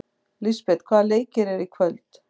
Lisbeth, hvaða leikir eru í kvöld?